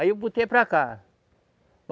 Aí eu botei para cá.